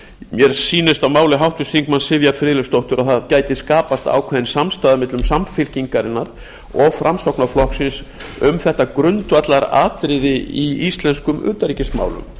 mér sýnist á máli háttvirts þingmanns sivjar friðleifsdóttur að það gæti skapast ákveðin samstaða millum samfylkingarinnar dag framsóknarflokksins um þetta grundvallaratriði í íslenskum utanríkismálum